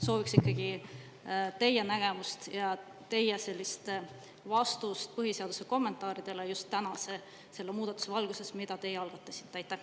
Sooviks ikkagi teie nägemust ja teie vastust põhiseaduse kommentaaride kohta just tänase muudatuse valguses, mille teie algatasite.